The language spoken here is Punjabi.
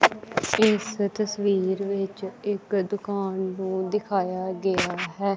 ਇਸ ਤਸਵੀਰ ਵਿੱਚ ਇੱਕ ਦੁਕਾਨ ਨੂੰ ਦਿਖਾਇਆ ਗਿਆ ਹੈ।